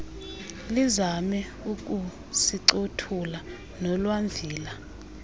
lizame ukusincothula nolwamvila